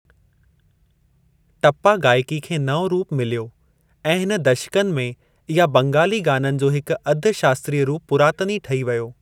टप्‍पा गायकी खे नओ रूप मिल्‍यो ऐं हिन दशकनि में इहा बंगाली गाननि जो हिकु अध शास्‍त्रीय रूप पुरातनी ठही व्यो।